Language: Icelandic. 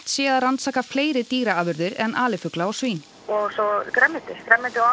sé að rannsaka fleiri dýraafurðir en alifugla og svín og svo grænmeti grænmeti og